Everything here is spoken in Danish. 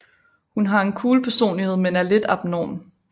Hun har en cool personlighed men er lidt abnorm